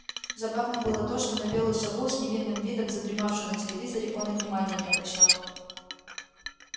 забавно было то что на белую сову с невинным видом задремавшую на телевизоре он и внимания не обращал